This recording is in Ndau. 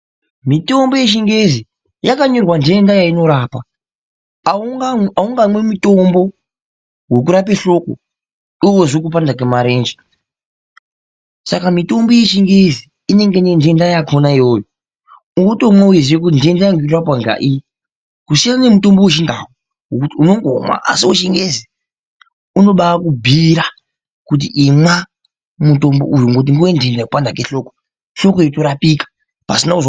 Mitombo yechingezi yakanyorwa nhenda yainorapa, aungamwi mutombo wekurape nhloko iwe weizwe kupanda kwemarenje, saka mitombo yechingezi inenge ine nhenda yakonaiyoyo, unotomwe weiziye kuti nhenda yangu irikurapwa ngaiyi, kusiyana ngemutombo wechindau wekuti unondomwa, asi wechingezi unoba wakubhuyira kuti imwa mutombo uyu ngekuti ngewenhenda yekupanda kwehloko, hloko yotarapika.....